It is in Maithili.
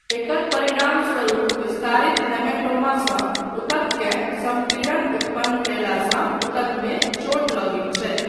एकर परिणामस्वरूप विस्तारित हेमेटोमासँ ऊतककेँ सम्पीड़न उत्पन्न कयलासँ ऊतकमे चोट लगैत छै।